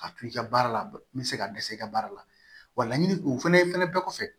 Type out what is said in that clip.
A to i ka baara la n bɛ se ka dɛsɛ i ka baara la wa laɲini o fɛnɛ bɛɛ kɔfɛ